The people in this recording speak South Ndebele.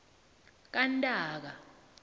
kantaka